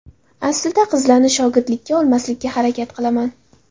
Aslida qizlarni shogirdlikka olmaslikka harakat qilaman.